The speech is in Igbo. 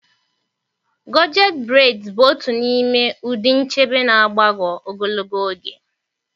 Gọchet breds bụ otu n'ime ụdị nchebe na-agbagọ ogologo oge.